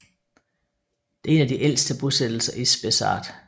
Det er en af de ældste bosættelser i Spessart